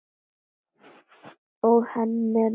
Og henni er nær.